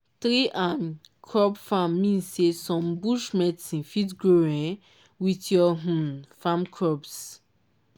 tree anc crop farm mean say some bush medicine fit grow um with your um farm crops.